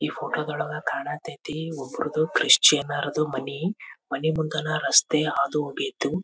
ಈ ಫೋಟೋದೊಳಗ ಕಾಣತೈತಿ ಒಬ್ರುದು ಕ್ರಿಶ್ಚಿಯನ್ ರದು ಮನೆ ಮನೆ ಮುಂದನ ರಸ್ತೆ ಹಾದು ಹೋಗಿತು.